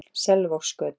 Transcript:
Selvogsgötu